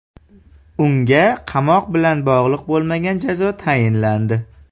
Unga qamoq bilan bog‘liq bo‘lmagan jazo tayinlandi.